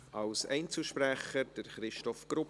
Als Einzelsprecher, Christoph Grupp.